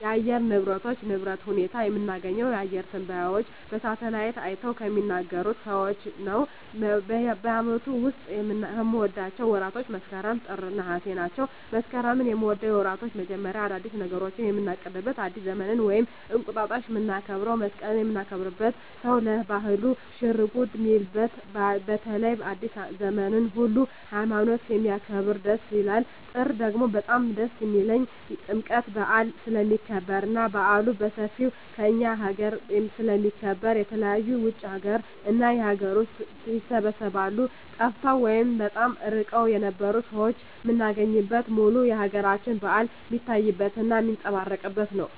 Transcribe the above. የአየር ንብረቶች ንብረት ሁኔታ የምናገኘው አየረ ተነባዩች በሳሀትአላይት አይተው ከሚናገሩት ሰዎች ነው በአመቱ ዉስጥ ከምወዳቸው ወራቶች መስከረም ጥር ነሃሴ ናቸው መስከረምን ምወደው የወራቶች መጀመሪያ አዳዲስ ነገሮችን ምናቅድበት አዲስ ዘመንን ወይም እንቁጣጣሽ ምናከብረው መሰቀልን ምናከብርበት ሰው ለባህሉ ሽርጉድ ሚልበት በተለይ አዲሰ ዘመንን ሁሉ ሀይማኖት ስለሚያከብር ደስ ይላል ጥር ደግሞ በጣም ደስ የሚልኝ ጥምቀት በአል ስለሚከበር እና በአሉ በሠፌው ከእኛ አገረ ስለሚከበር የተለያዩ የውጭ እና የአገር ውስጥ ይሰባሰባሉ ጠፍተው ወይም በጣም እርቀዉን የነበሩ ሠዎች ምናገኝበት ሙሉ የአገራችን በአል ሜታይበት እና ሜጸባረቅበት ነው